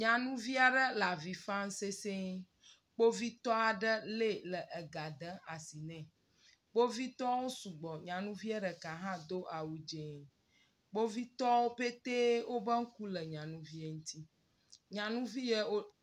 Nyanuvi aɖe le avi fam sesɛ̃e, kpovitɔ aɖe lée le ega dem asi nɛ, kpovitɔwo sugbɔ, nyanuvie ɖeka hã do awu dzee. Kpovitɔwo petee wobe ŋku le nyɔnuviɛ ŋuti, nyanuvi yɛ wo…